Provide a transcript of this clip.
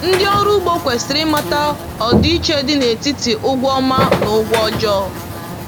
Ndị ọrụ ugbo kwesịrị ịmata ọdịiche dị n’etiti ụgwọ ọma na ụgwọ ọjọọ.